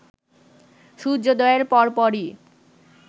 সূর্যোদয়ের পরপরই